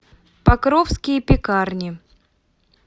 покровские пекарни